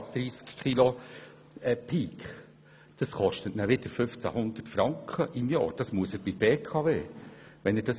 Dieses kostet wieder 1500 Franken im Jahr und muss bei der BKW bezogen werden.